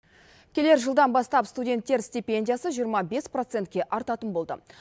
келер жылдан бастап студенттер стипендиясы жиырма бес процентке артатын болды